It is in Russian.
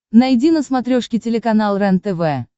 найди на смотрешке телеканал рентв